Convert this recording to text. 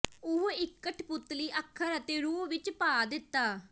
ਉਹ ਇੱਕ ਕਠਪੁਤਲੀ ਅੱਖਰ ਅਤੇ ਰੂਹ ਵਿੱਚ ਪਾ ਦਿੱਤਾ